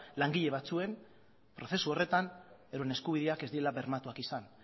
langile batzuen prozesu horretan euren eskubideak ez direla bermatuak izan